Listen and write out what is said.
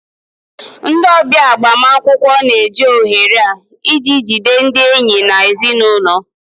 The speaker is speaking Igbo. Ndị ọbịa agbamakwụkwọ na-eji ohere a iji jide ndị enyi na ezinụlọ